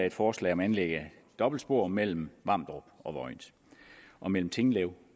et forslag om anlæg af dobbeltspor mellem vamdrup og vojens og mellem tinglev